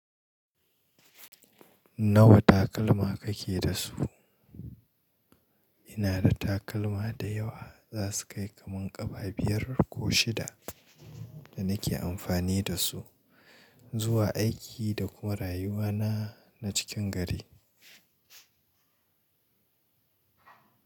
Nawa takalma kake da su? Ina da takalma da yawa za su kai kaman ƙafa biyar ko shida da nake amfani da su zuwa aiki da kuma rayuwana na cikin gari.